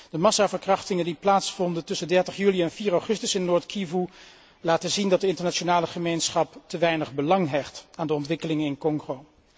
De massaverkrachtingen die plaatsvonden tussen 30 juli en 4 augustus 2010 in Noord Kivu, laten zien dat de internationale gemeenschap te weinig belang hecht aan de ontwikkeling in Congo.